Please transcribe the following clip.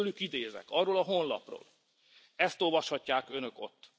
Most tőlük idézek, arról a honlapról, ezt olvashatják Önök ott